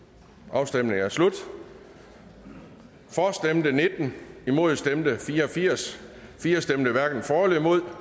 afstemningen er slut for stemte nitten imod stemte fire og firs firs hverken for eller imod